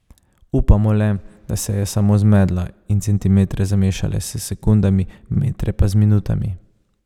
Upamo le, da se je samo zmedla in centimetre zamešala s sekundami, metre pa z minutami ...